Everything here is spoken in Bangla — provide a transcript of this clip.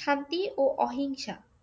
শান্তি ও অহিংসা।